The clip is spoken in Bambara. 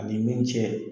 Ani min cɛ